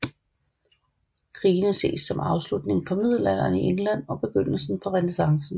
Krigene ses som afslutning på Middelalderen i England og begyndelsen på Renæssancen